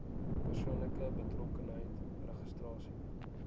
persoonlike betrokkenheid registrasie